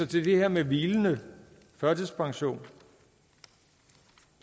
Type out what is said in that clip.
til det her med hvilende førtidspension